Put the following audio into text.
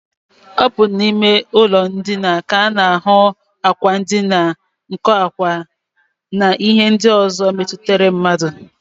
Ọ bụ n'ime ụlọndina ka a na-ahụ ákwà ndina, nkọ ákwá, na ihe ndị ọzọ metụtara mmadụ